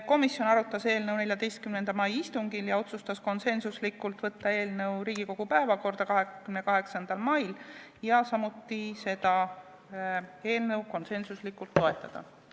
Komisjon arutas eelnõu 14. mai istungil ja otsustas konsensuslikult saata eelnõu Riigikogu päevakorda 28. maiks ja teha ettepaneku eelnõu toetada.